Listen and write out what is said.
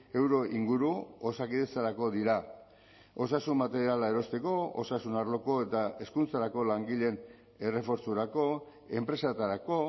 euro inguru osakidetzarako dira osasun materiala erosteko osasun arloko eta hezkuntzarako langileen errefortzurako enpresetarako